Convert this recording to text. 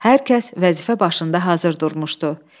Hər kəs vəzifə başında hazır durmuşdu.